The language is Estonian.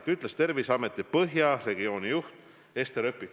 Seda ütles Terviseameti Põhja regionaalosakonna juht Ester Öpik.